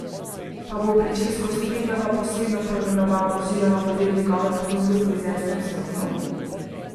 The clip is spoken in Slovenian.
Pa bo pričesko s Triglava posebno poimenoval oziroma bo del njegove ponudbe v frizerskem salonu?